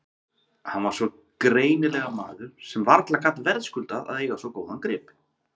Hann var greinilega maður sem varla gat verðskuldað að eiga svo góðan grip.